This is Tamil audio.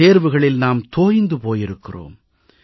தேர்வுகளில் நாம் தோய்ந்து போயிருக்கிறோம்